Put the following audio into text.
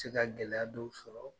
Se ka gɛlɛya dɔw sɔrɔ